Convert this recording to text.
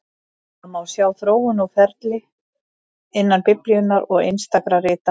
Það má sjá þróun og ferli innan Biblíunnar og einstakra rita hennar.